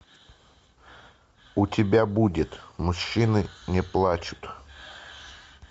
у тебя будет мужчины не плачут